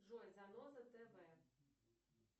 джой заноза тв